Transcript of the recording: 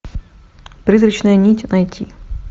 призрачная нить найти